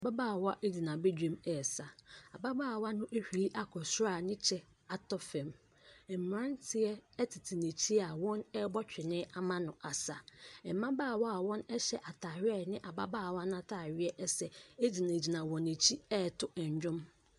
Ababaawa gyina badwam resa. Ababaawa no ahwiri akɔ soro a ne kyɛ atɔ fam. Mmeranteɛ tete n'akyi a wɔrebɔ twene ama no asa. Mmabaawa a wɔhyɛ atareɛ a ɛne ababaawa no atareɛ sɛ gyinagyina wɔ n'akyi reto nnwom.